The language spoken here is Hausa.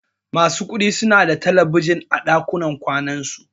Masu kuɗi suna da talabijin a ɗakunan kwanan su.